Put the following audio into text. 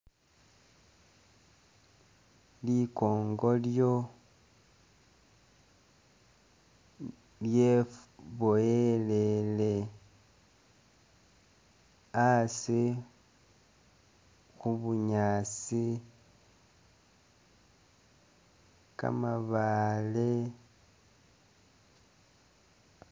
Likongolyo lyeboyelele asi khubunyaasi, kamabaale